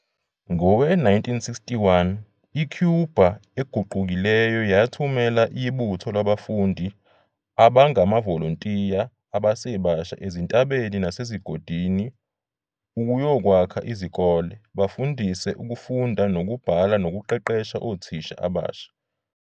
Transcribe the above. Ngowe-1961, i-Cuba eguqukileyo yathumela ibutho labafundi abangamavolontiya abasebasha ezintabeni nasezigodini ukuyokwakha izikole, bafundise ukufunda nokubhala nokuqeqesha othisha abasha.